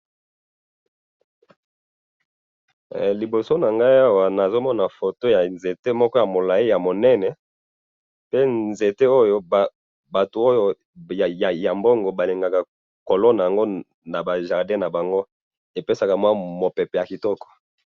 liboso nanga awa nazo mona foto ya nzete moko ya mulayi ya munene pe nzete oyi batu oyi ya mbongo balingaka kolonga yango naba jardin nabango epesaka mupepe ya kitoko.